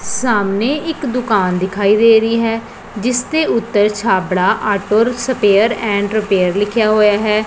ਸਾਹਮਨੇ ਇੱਕ ਦੁਕਾਨ ਦਿਖਾਈ ਦੇ ਰਹੀ ਹੈ ਜਿੱਸ ਦੇ ਉੱਤਰ Chhabra auto spare and repair ਲਿੱਖਿਆ ਹੋਇਆ ਹੈ।